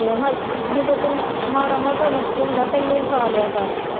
ਤੇ ਹ ਜਦੋਂ ਤੈਨੂੰ ਮਾੜਾ ਮੋਟਾ ਨੁਕਸ ਹੁੰਦਾ ਪਹਿਲਾਂ ਹੀ ਖਾ ਲਿਆ ਕਰ।